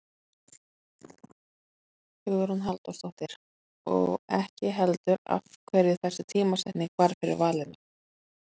Hugrún Halldórsdóttir: Og ekki heldur af hverju þessi tímasetning varð fyrir valinu?